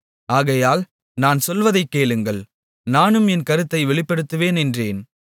ஆகையால் நான் சொல்வதைக் கேளுங்கள் நானும் என் கருத்தை வெளிப்படுத்துவேன் என்றேன்